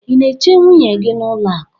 ị na-eche nwunye gị n'ụlọ akụ?